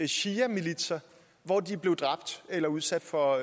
shiamilitser hvor de blev dræbt eller udsat for